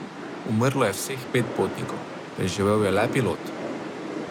Umrlo je vseh pet potnikov, preživel je le pilot.